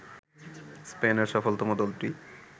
স্পেনের সফলতম দলটি